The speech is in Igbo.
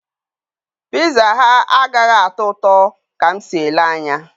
Piza ha agaghị atọ ụtọ ka m si ele anya.